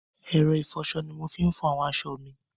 ẹ̀rọ ìfọṣọ ni mo fi ń fọ àwọn aṣọ mi.